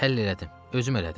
Həll elədim, özüm elədim.